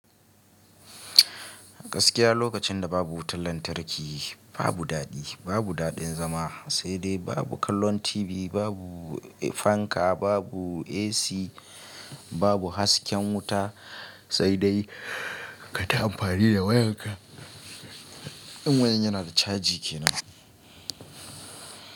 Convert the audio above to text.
Gaskiya lokacin da babu wutan lantarki babu daɗi, babu daɗin zama, sai dai babu kallon TV, babu fanka, babu AC, babu hasken wuta, sai dai ka ta amfani da wayarka. In wayan yana da caji kenan.